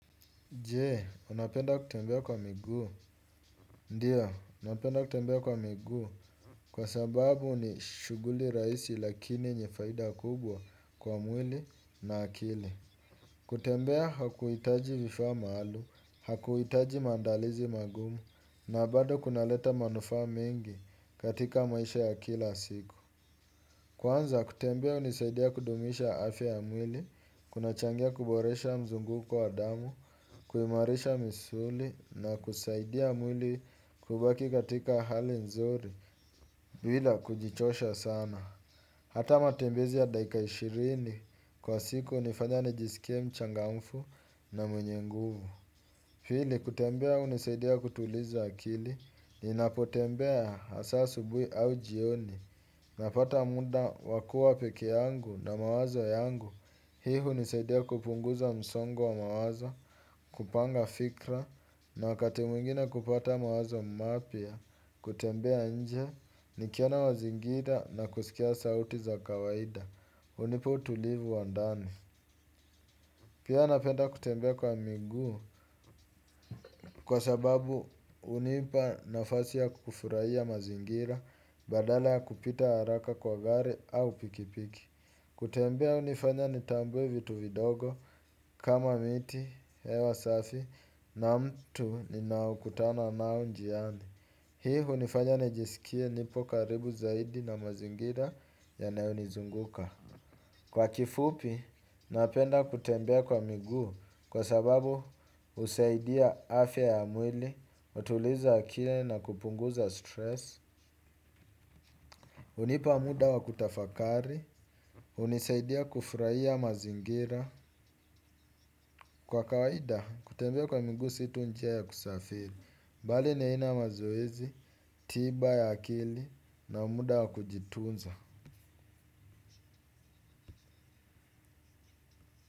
Je, unapenda kutembea kwa miguu. Ndiyo, napenda kutembea kwa migu. Kwa sababu ni shughuli rahisi lakini yenye faida kubwa kwa mwili na akili. Kutembea hakuhitaji vifaa maalum, hakuhitaji maandalizi magumu, na bado kunaleta manufaa mengi katika maisha ya kila siku. Kwanza, kutembea hunisaidia kudumisha afya ya mwili, kuna changia kuboresha mzunguko wa damu, kuimarisha misuli na kusaidia mwili kubaki katika hali nzuri bila kujichosha sana. Hata matembezi ya dakika ishirini kwa siku hunifanya nijisikie mchangamfu na mwenye nguvu pili kutembea hunisaidia kutuliza akili ninapotembea hasa asubuhi au jioni. Napata muda wa kuwa peke yangu na mawazo yangu. Hii hunisaidia kupunguza msongo wa mawazo, kupanga fikra, na wakati mwingine kupata mawazo mapya, kutembea nje, nikiona mazingira na kusikia sauti za kawaida, hunipa utulivu wa ndani. Pia napenda kutembea kwa miguu, kwa sababu hunipa nafasi ya kufurahia mazingira, badala ya kupita haraka kwa gari au pikipiki. Kutembea hunifanya nitambue vitu vidogo kama miti, hewa safi na mtu ninaokutana nao njiani. Hii hunifanya nijisikie nipo karibu zaidi na mazingira yanayonizunguka. Kwa kifupi, napenda kutembea kwa miguu kwa sababu husaidia afya ya mwili, hutuliza akili na kupunguza stress hnipa muda wa kutafakari hunisaidia kufurahia mazingira. Kwa kawaida kutembea kwa miguu si tu njia ya kusafiri bali ni aina ya mazoezi, tiba ya akili na muda wa kujitunza.